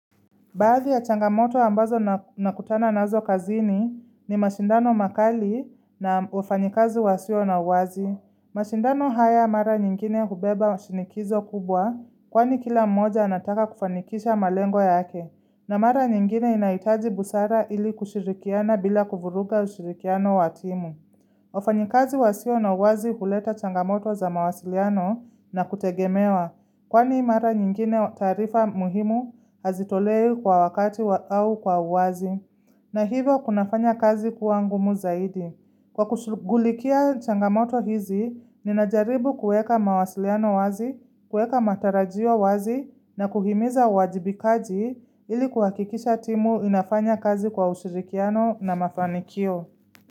Baadhi ya changamoto ambazo nakutana nazo kazini ni mashindano makali na wafanyakazi wasio na uwazi. Mashindano haya mara nyingine hubeba shinikizo kubwa kwani kila mmoja anataka kufanikisha malengo yake. Na mara nyingine inahitaji busara ili kushirikiana bila kuvuruga ushirikiano wa timu. Wafanyakazi wasio na uwazi huleta changamoto za mawasiliano na kutegemewa. Kwani mara nyingine taarifa muhimu hazitolewi kwa wakati au kwa uwazi na hivyo kunafanya kazi kuangumu zaidi Kwa kushughulikia changamoto hizi, ninajaribu kuweka mawasiliano wazi, kuweka matarajio wazi na kuhimiza uwajibikaji ili kuhakikisha timu inafanya kazi kwa ushirikiano na mafanikio.